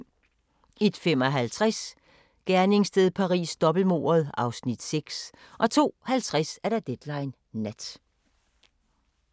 01:55: Gerningssted Paris: Dobbeltmordet (Afs. 6) 02:50: Deadline Nat